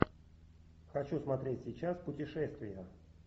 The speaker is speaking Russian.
хочу смотреть сейчас путешествия